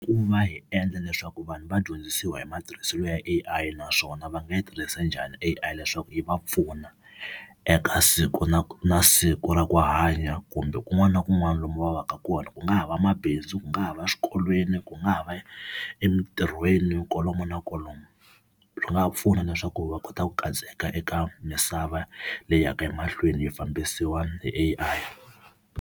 Ku va hi endla leswaku vanhu va dyondzisiwa hi matirhiselo ya AI naswona va nga yi tirhisa njhani a leswaku yi va pfuna eka siku na siku na siku ra ku hanya, kumbe kun'wana na kun'wana lomu va va ka kona ku nga ha va mabindzu, ku nga ha va swikolweni, ku nga ha va ya emitirhweni kolomu na kolomo. Swi ga pfuna leswaku va kota ku katseka eka misava leyi yaka emahlweni yi fambisiwa hi AI.